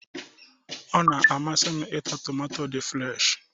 Ọ na-amasị m ịta tomato dị fụreshi